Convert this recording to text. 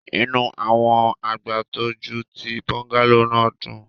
Inu awọn agbatọju ti bungalow naa dun